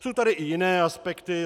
Jsou tady i jiné aspekty.